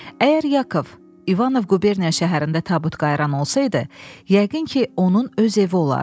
Əgər Yakov İvanov quberniya şəhərində tabut qayıran olsaydı, yəqin ki, onun öz evi olardı.